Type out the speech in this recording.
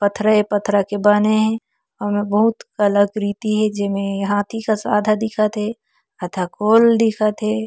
पथरा ए पथरा के बने हे अउ ओमे बहुत कलाकृति हे जेमे हाथी कस आधा दिखत हे आधा गोल दिखत हे।